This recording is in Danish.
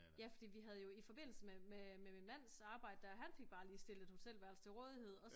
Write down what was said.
Ja fordi vi havde jo i forbindelse med min mands arbejde der han fik bare lige stillet et hotelværelse til rådighed